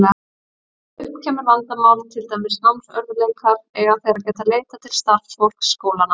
Ef upp kemur vandamál, til dæmis námsörðugleikar, eiga þeir að geta leitað til starfsfólks skólanna.